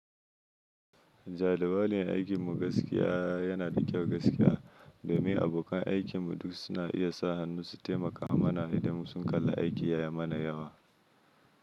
Jalibalin aikin mu gaskiya yana da kyau gaskiya, domin abokan aikin mu duk suna iya sa hannu su taimaka mana idan sun kalla aiki ya yi mana yawa.